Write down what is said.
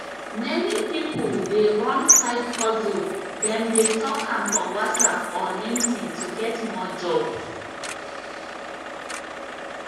many people dey run side hustle dem dey talk am for whatsapp or linkedin to get more job